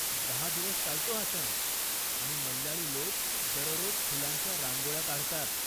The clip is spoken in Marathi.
दहा दिवस चालतो हा सण, आणि मल्याळी लोक दररोज फुलांच्या रांगोळ्या काढतात.